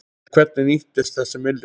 En hvernig nýtist þessi milljón?